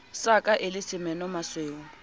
sa ka e le semenomasweu